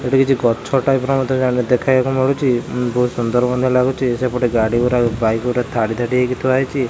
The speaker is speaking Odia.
ଏଠି କିଛି ଗଛ ଟାଇପ୍ ର ମଧ୍ୟ ଜାଣି ଦେଖିବାକୁ ମିଳୁଚି ବୋହୁତ ସୁନ୍ଦର ମଧ୍ୟ ଲାଗୁଚି ସେପଟେ ଗାଡ଼ି ଗୁଡ଼ାକ ବାଇକ୍ ଗୁଡ଼ାକ ଧାଡ଼ି ଧାଡ଼ି ହେଇକି ଥୁଆ ହେଇଚି।